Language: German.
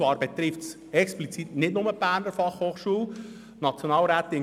Dies betrifft explizit nicht nur die Berner Fachhochschule (BFH).